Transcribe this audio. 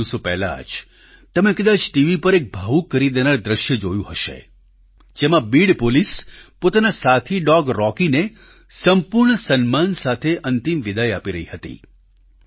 થોડા દિવસો પહેલાં જ તમે કદાચ ટીવી પર એક ભાવુક કરી દેનાર દ્રશ્ય જોયું હશે જેમાં બીડ પોલીસ પોતાના સાથી ડોગ રોકી ને સંપૂર્ણ સન્માન સાથે અંતિમ વિદાય આપી રહી હતી